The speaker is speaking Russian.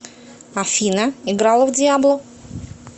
афина играла в диабло